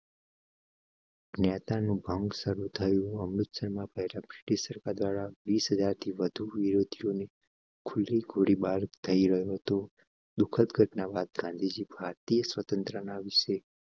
નેતા નો ભંગ શરૂ થયું. અમૃતસર માં પહેલા બ્રિટીશ સરકાર દ્વારા વીસ હજાર થી વધુ વિરોધીઓ ને ખુલી ગોળીબાર કરી રહે તો દુખદ ઘટના બાદ ગાંધીજી ભારતીય સ્વતંત્રતા વિશેષ